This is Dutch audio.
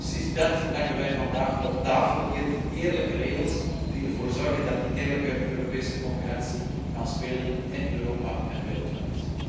Precies dat leggen wij hier vandaag op tafel die eerlijke regels, die ervoor zorgen dat die eerlijke Europese concurrentie kan spelen in Europa en wereldwijd.